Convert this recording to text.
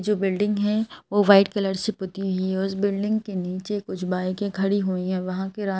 जो बिल्डिंग है वो वाइट कलर से पती हुई है उस बिल्डिंग के नीचे कुछ बाइके खड़ी हुई है वहां पे--